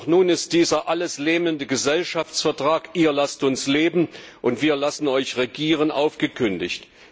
Doch nun ist dieser alles lähmende Gesellschaftsvertrag ihr lasst uns leben, und wir lassen euch regieren aufgekündigt.